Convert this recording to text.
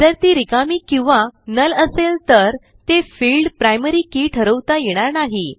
जर ती रिकामी किंवा नुल असेल तर ते फिल्ड प्रायमरी के ठरवता येणार नाही